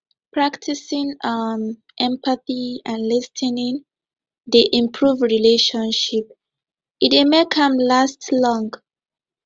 practicing um empathy and lis ten ing dey improve relationship e dey make am last long